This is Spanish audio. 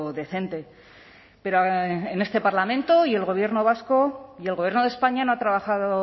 decente pero en este parlamento y el gobierno vasco y el gobierno de españa no ha trabajado